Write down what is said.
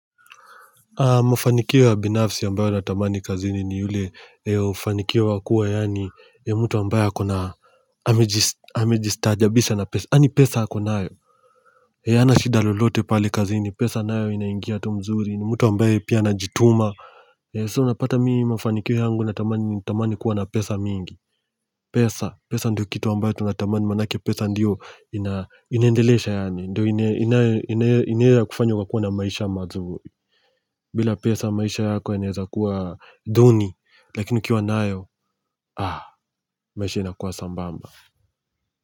Mafanikio ya binafsi ambayo natamani kazini ni yule hufanikiwa kuwa yani ya mtu ambaye ako na amejistajabisa na pesa yani pesa ako nayo yey hana shida lolote pali kazini pesa nayo inaingia tu mzuri ni mtu ambaye pia anajituma so napata mii mufanikio yangu natamani kuwa na pesa mingi pesa, pesa ndio kitu ambayo tunatamani maanake pesa ndio ina inaendelesha yani ndio ni hiyo ya kufanya kwa kuwa na maisha mazuri bila pesa maisha yako yana eneza kuwa duni, lakini ukiwa nayo maisha inakuwa sambamba.